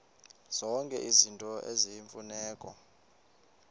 zonke izinto eziyimfuneko